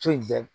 So in bɛɛ